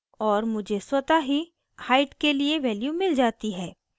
और मुझे स्वतः ही height के लिए value मिल जाती है